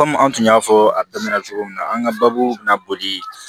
an tun y'a fɔ a daminɛ na cogo min na an ka baabu bɛna boli